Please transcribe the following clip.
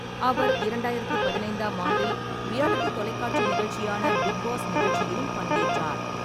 அவர் இரண்டாயிரத்து பதினைந்தாம் ஆண்டில் ரியாலிட்டி தொலைக்காட்சி நிகழ்ச்சியான பிக் பாஸ் நிகழ்ச்சியிலும் பங்கேற்றார்.